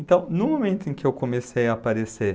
Então, no momento em que eu comecei a aparecer,